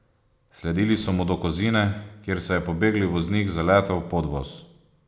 Sledili so mu do Kozine, kjer se je pobegli voznik zaletel v podvoz.